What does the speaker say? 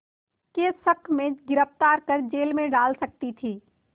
के शक में गिरफ़्तार कर जेल में डाल सकती थी